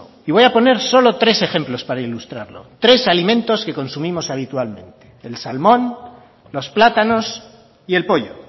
y voy a poner solo tres ejemplos para ilustrarlo tres alimentos que consumimos habitualmente el salmón los plátanos y el pollo